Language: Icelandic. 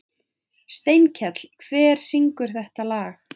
Steinkell, hver syngur þetta lag?